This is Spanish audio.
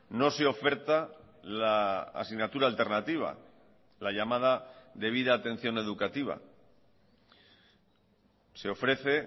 no se oferta la asignatura alternativa la llamada debida atención educativa se ofrece